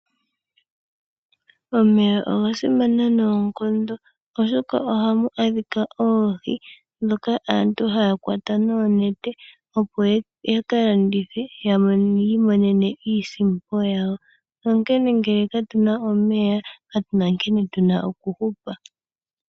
Omeya oga simana noonkondo oshoka ohamu adhika oohi ndhoka aantu haya kwata noonete opo yaka landithe yi imonene iisimpo yawo. Ngeke katuna omeya katuna nkene tuna okuhupa.